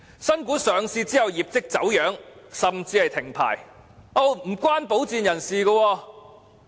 新股上市後業績走樣甚至停牌，均與保薦人無關。